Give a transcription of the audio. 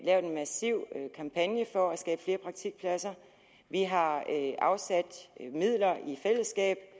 lavet en massiv kampagne for at skabe flere praktikpladser vi har i fællesskab